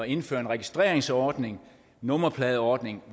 indføre en registreringsordning nummerpladeordning